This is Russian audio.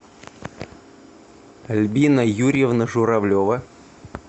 альбина юрьевна журавлева